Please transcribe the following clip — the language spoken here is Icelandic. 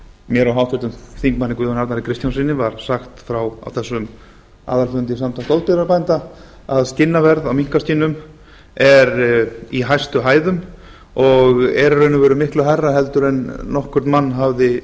mér og háttvirtur þingmaður guðjóni arnari kristjánssyni var sagt frá á þessum aðalfundi samtaka loðdýrabænda að skinnaverð á minkaskinnum er í hæstu hæðum og er í raun og veru miklu hærra heldur en nokkurn mann hafði